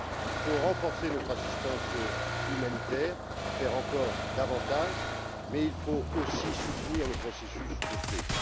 Il faut renforcer notre assistance humanitaire, faire encore davantage, mais il faut aussi soutenir le processus de paix.